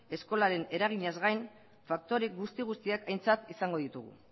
eskolaren eraginez gain faktore guzti guztiak aintzat izango ditugu